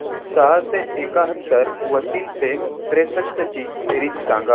सहाशे एकाहत्तर व तीनशे त्रेसष्ट ची बेरीज सांगा